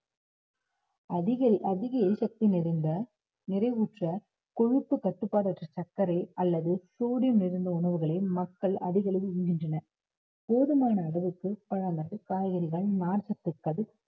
அதிக அதிக எரிசக்தி நிறைந்த, நிறைவுற்ற கொழுப்பு கட்டுப்பாடற்ற சர்க்கரை அல்லது sodium நிறைந்த உணவுகளை மக்கள் அதிக அளவில் உண்கின்றனர் போதுமான அளவுக்கு பழங்கள், காய்கறிகள், நார்ச்சத்துகள்